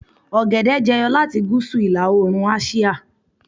ogede jẹyọ lati gúúsù ila oorun àsìá